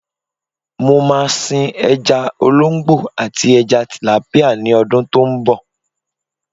Mo máa sin ẹja olóńgbò àti ẹja tìlápíà ní ọdún tó ń bọ̀.